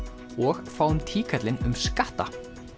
og fáum um skatta